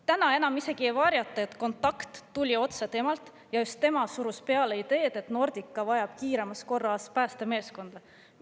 Täna enam isegi ei varjata, et kontakt tuli otse temalt ja just tema surus peale ideed, et Nordica vajab kiiremas korras päästemeeskonda.